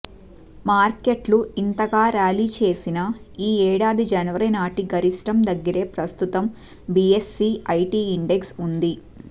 మార్కెట్లు ఇంతగా ర్యాలీ చేసిన ఈ ఏడాది జనవరి నాటి గరిష్టం దగ్గరే ప్రస్తుతం బీఎస్ఈ ఐటీ ఇండెక్స్ ఉంది